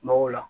Mago la